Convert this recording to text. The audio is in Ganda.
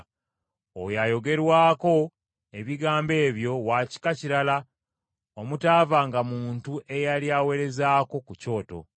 Oyo ayogerwako ebigambo ebyo wa kika kirala omutaavanga muntu eyali aweerezaako ku Kyoto.